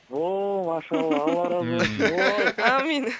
ооо машалла алла разы болсын ой аумин